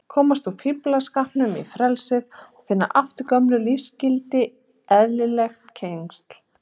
Komast úr fíflskapnum í frelsið, finna aftur gömul lífsgildi og eðlileg tengsl.